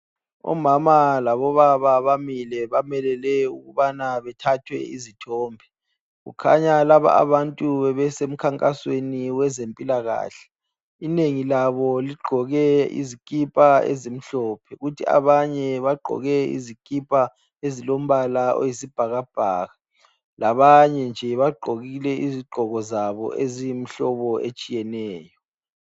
Omama labo baba bamile bamelele ukubana bethathwe izithombe, kukhanya laba abantu bebese mkhankasweni weze mpilakahle. Inengi labo ligqoke izikipa ezimhlophe kuthi banye bagqoke izikipa ezilombala oyisi bhakabhaka labanye nje bagqokile izigqoko zabo eziyi mhlobo etshiyeneyo.